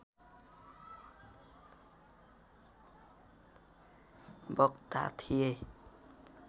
वक्ता थिए।